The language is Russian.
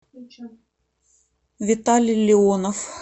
виталий леонов